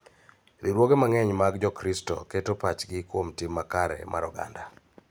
Riwruoge mang�eny mag Jokristo keto pachgi kuom tim makare mar oganda.